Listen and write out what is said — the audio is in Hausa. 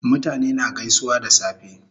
Mutane na gaisuwa da safe